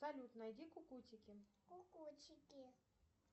салют найди кукутики